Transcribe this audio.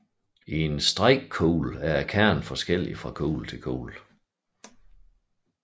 I en strikekugle er kernen forskellig fra kugle til og kugle